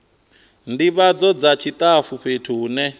ndivhadzo dza tshitafu fhethu hune